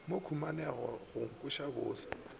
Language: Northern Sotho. mo khunamela go nkweša bose